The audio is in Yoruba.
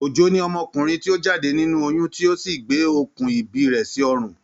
Ojo ni ọmọkùnrin ti o jáde nínú oyún ti o sí gbé okùn ìbí rẹ̀ sí ọrùn.